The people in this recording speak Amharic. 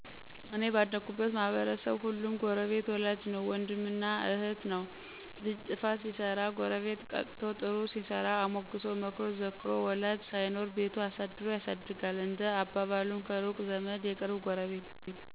" እኔ ባደኩበት ማህበረሰብ ሁሉም ጎረቤት ወላጅ ነዉ ወንድም ነዉ እህት ነዉ ልጅ ጥፋት ሲሰራ ጎረቤት ቀጥቶ ጥሩ ሲሰራ አሞግሶ መክሮ ዘክሮ ወላጅ ሳይኖር ቤቱ አሳድሮ ያሳድጋል። እንደ አባባሉም ከሩቅ ዘመድ የቅርብ ጎረቤት !!